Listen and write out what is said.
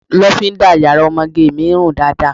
Lofinda yàrá ọmọge mi run dáadáa.